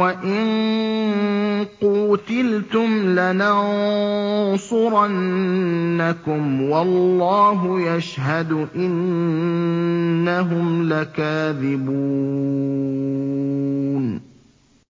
وَإِن قُوتِلْتُمْ لَنَنصُرَنَّكُمْ وَاللَّهُ يَشْهَدُ إِنَّهُمْ لَكَاذِبُونَ